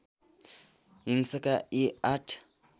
हिंसाका यी आठ